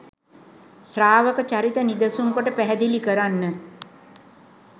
ශ්‍රාවක චරිත නිදසුන් කොට පැහැදිලි කරන්න.